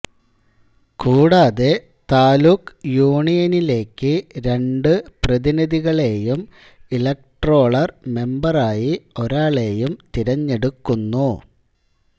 കൂടാതെ താലൂക്ക് യൂണിയനിലേക്ക് രണ്ടു പ്രതിനിധികളേയും ഇലക്ട്രോളർ മെമ്പർ ആയി ഒരാളെയും തിരഞ്ഞെടുക്കുന്നു